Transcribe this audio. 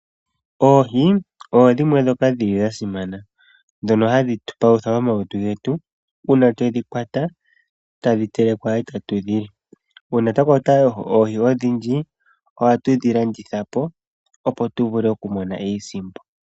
Oohi odho dhimwe ndhoka dhili dha simana ndhono hadhi tupalutha momalutu getu ,uuna twedhi kwata tadhi telekwa etatu dhili . Oohi odhindji ohatu dhilandithapo opp tuvule okumona iisimpo.